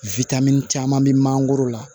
witamini caman bɛ mangoro la